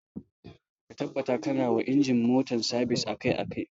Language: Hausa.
Ka tabbata ƙana ma inji na motar ka sabis akai akai.